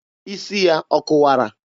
Isi ya ọ kụwara?